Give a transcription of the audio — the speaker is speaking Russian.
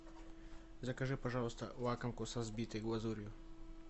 закажи пожалуйста лакомку со взбитой глазурью